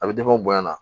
A bɛ bonya na